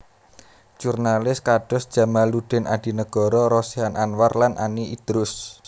Jurnalis kados Djamaluddin Adinegoro Rosihan Anwar lan Ani Idrus